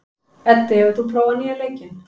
Eddi, hefur þú prófað nýja leikinn?